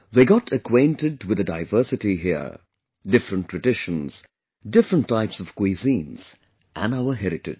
They got acquainted with the diversity here; different traditions, different types of cuisines and our heritage